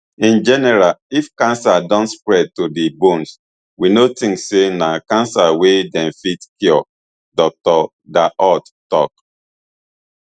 in general if cancer don spread to di bones we no tink say na cancer wey dem fit cure dr dahut tok